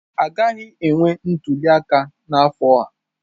Agaghị enwe ntuli aka n'afọ a?